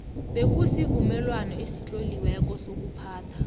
bekunesivumelwano esitloliweko sokuphathwa